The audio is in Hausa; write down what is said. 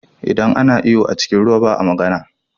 Idan ana iyo a cikin ruwa ba a magana.